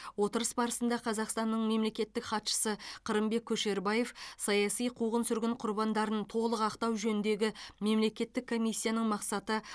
отырыс барысында қазақстанның мемлекеттік хатшысы қырымбек көшербаев саяси қуғын сүргін құрбандарын толық ақтау жөніндегі мемлекеттік комиссияның мақсаты